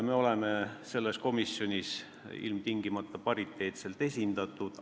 Fraktsioonid on selles komisjonis ilmtingimata pariteetselt esindatud.